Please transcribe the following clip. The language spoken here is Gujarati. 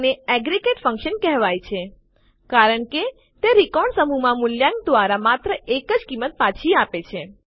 આને એગ્રેગેટ ફંક્શન એકંદર વિધેય કહેવાય છે કારણ કે તે રેકોર્ડ સમૂહનાં મૂલ્યાંકન દ્વારા માત્ર એક જ કિંમત પાછી આપે છે